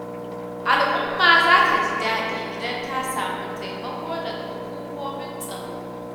Al'umma za ta ji daɗi idan ta samu taimako daga hukumomin tsaro.